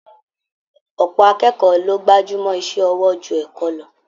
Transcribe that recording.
Ọ̀pọ̀ akẹ́kọ̀ọ́ ló gbajúmọ́ iṣẹ́ ọwọ́ ju ẹ̀kọ́ lọ